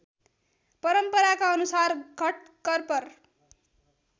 परम्पराका अनुसार घटकर्पर